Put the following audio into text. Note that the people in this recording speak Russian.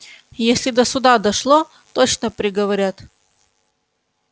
если до суда дошло точно приговорят